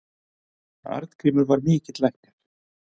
Arngrímur var mikill læknir.